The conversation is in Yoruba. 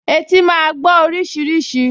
Etí máa gbọ́ oríṣiríṣi